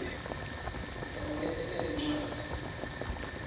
ufanele ete nencwadzi